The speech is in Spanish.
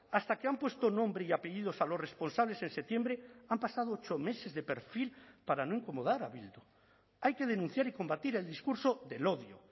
hasta que han puesto nombre y apellidos a los responsables en septiembre han pasado ocho meses de perfil para no incomodar a bildu hay que denunciar y combatir el discurso del odio